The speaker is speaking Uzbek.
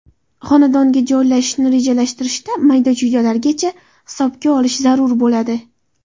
Xonadonga joylashishni rejalashtirishda mayda-chuydalargacha hisobga olish zarur bo‘ladi.